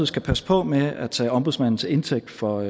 skal passe på med at tage ombudsmanden til indtægt for